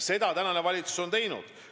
Seda on valitsus ka teinud.